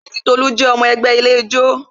Èmi ati Tolu jẹ́ ọmọ ẹgbẹ́ ilé ijó